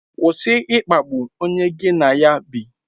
Kwụsị ịkpagbu onye gị na ya bi.